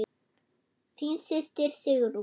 Þín systir Sigrún.